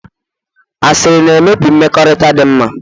Asịrị na-emebi mmekọrịta dinma